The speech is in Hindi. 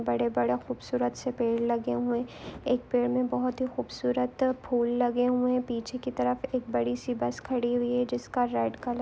बड़े-बड़े खूबसूरत से पेड़ लगे हुए है एक पेड़ में बहुत ही खूबसूरत फूल लगे हुए है पीछे की तरफ एक बडी सी बस खड़ी हुई है जिसका रेड कलर --